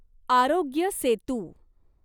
Aarogya Setu